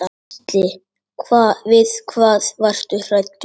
Gísli: Við hvað varstu hræddur?